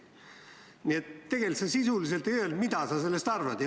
Nii et tegelikult sa sisuliselt ei öelnud, mida sa sellest arvad.